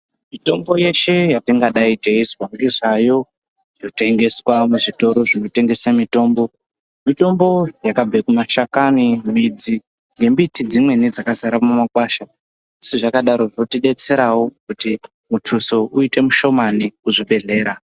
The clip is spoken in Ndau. Mitombo yeshe yetingadai teizwa ngezvayo yotengeswa muzvitoro zvotengesa mitombo. Mitombo yakabve kumashakani, midzi nembiti dzimweni dzakazara mumakwasha. Sezvakadaro zvinotidetserawo kuti mutuso uite. mushomani kuzvibhehlera.